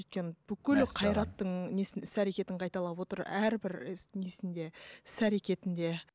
өйткені бүкіл қайраттың несін іс әркетін қайталап отыр әрбір і несінде іс әркетінде